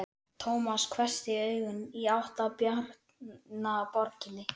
Tómas hvessti augun í átt að Bjarnaborginni.